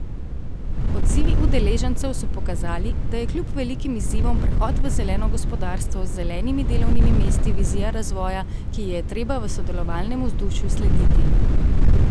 Odzivi udeležencev so pokazali, da je kljub velikim izzivom prehod v zeleno gospodarstvo z zelenimi delovnimi mesti vizija razvoja, ki ji je treba v sodelovalnem vzdušju slediti.